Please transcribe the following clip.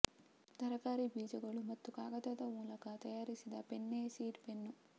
ತರಕಾರಿ ಬೀಜಗಳು ಮತ್ತು ಕಾಗದದ ಮೂಲಕ ತಯಾರಿಸಿದ ಪೆನ್ನೇ ಸೀಡ್ ಪೆನ್ನು